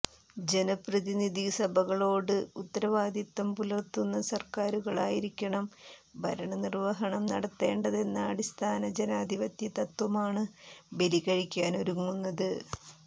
ജനപ്രതിനിധിസഭകളോട് ഉത്തരവാദിത്തം പുലർത്തുന്ന സർക്കാരുകളായിരിക്കണം ഭരണനിർവഹണം നടത്തേണ്ടതെന്ന അടിസ്ഥാന ജനാധിപത്യതത്വമാണ് ബലികഴിക്കാനൊരുങ്ങുന്നത്